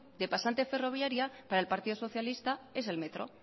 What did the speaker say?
de pasante ferroviaria para el partido socialista es el metro